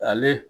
Ale